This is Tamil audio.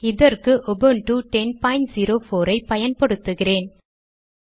இதற்கு உபுன்டு 1004 ஐ பயன்படுத்துகிறேன்